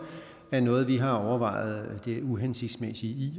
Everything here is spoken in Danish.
er noget vi har overvejet det uhensigtsmæssige i